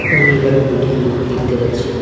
আমি এখানে দুটি লোক দেখতে পাচ্ছি।